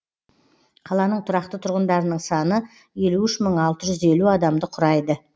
қаланың тұрақты тұрғындарының саны елу үш мың алты жүз елу адамды құрайды